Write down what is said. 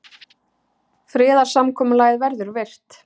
Friðarsamkomulagið verður virt